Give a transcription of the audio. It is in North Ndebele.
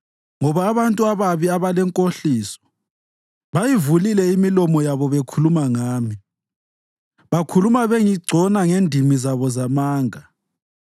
ngoba abantu ababi abalenkohliso bayivulile imilomo yabo bekhuluma ngami; bakhuluma bengigcona ngendimi zabo zamanga.